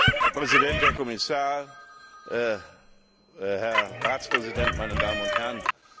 Herr Präsident, Herr Kommissar, Herr Ratspräsident, meine Damen und Herren!